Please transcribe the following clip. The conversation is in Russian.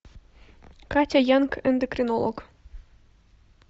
катя янг эндокринолог